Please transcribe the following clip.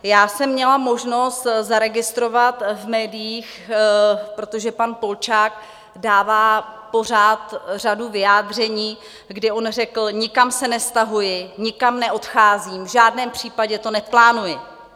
Já jsem měla možnost zaregistrovat v médiích, protože pan Polčák dává pořád řadu vyjádření, kdy on řekl: nikam se nestahuji, nikam neodcházím, v žádném případě to neplánuji.